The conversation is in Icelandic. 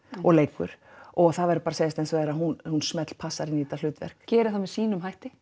og leikur og það verður að segjast eins og er að hún hún smellpassar inn í þetta hlutverk gerir það með sínum hætti